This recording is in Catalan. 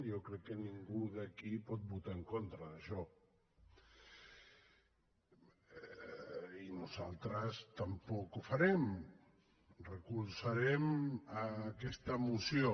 jo crec que ningú d’aquí pot votar en contra d’això i nosaltres tampoc ho farem recolzarem aquesta moció